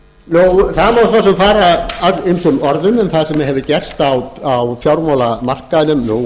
sparisjóðanna það má svo sem fara ýmsum orðum um það sem hefur gerst á fjármálamarkaðnum nú